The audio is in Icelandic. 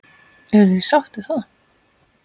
Eruð þið sátt við það?